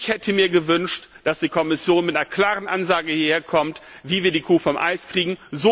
Ich hätte mir gewünscht, dass die Kommission mit einer klaren Ansage hierherkommt, wie wir die Kuh vom Eis kriegen.